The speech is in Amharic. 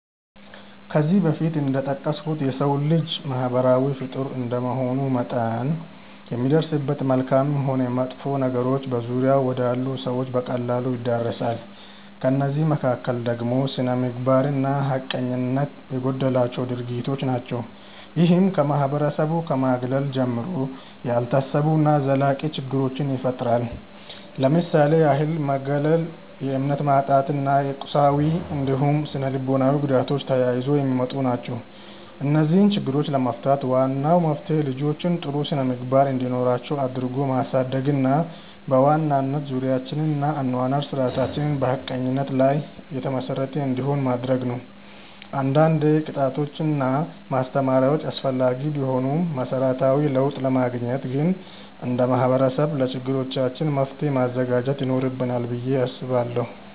ከዚህ በፊት እንደጠቀስኩት የሰው ልጅ ማህበራዊ ፍጡር እንደመሆኑ መጠን የሚደርስበት መልካምም ሆን መጥፎ ነገሮች በዙሪያው ወዳሉ ሰዎች በቀላሉ ይዳረሳል። ከእነዚህ መካከል ደግሞ ስነምግባር እና ሀቀኝነት የጎደላቸው ድርጊቶች ናቸው። ይህም ከማህበረሰቡ ከማግለል ጀምሮ፣ ያልታሰቡ እና ዘላቂ ችግሮችን ይፈጥራል። ለምሳሌ ያህል መገለል፣ የእምነት ማጣት እና የቁሳዊ እንዲሁም ስነልቦናዊ ጉዳቶች ተያይዘው የሚመጡ ናቸው። እነዚህን ችግሮች ለመፍታት ዋናው መፍትሄ ልጆችን ጥሩ ስነምግባር እንዲኖራቸው አድርጎ ማሳደግ እና በዋናነት ዙሪያችንን እና የአኗኗር ስርዓታችንን በሀቀኝነት ላይ የተመሰረተ እንዲሆን ማድረግ ነው። አንዳንዴ ቅጣቶች እና ማስተማሪያዎች አስፈላጊ ቢሆኑም መሰረታዊ ለውጥ ለማግኘት ግን እንደ ማህበረሰብ ለችግሮቻችን መፍትሔ ማዘጋጀት ይኖርብናል ብዬ አስባለሁ።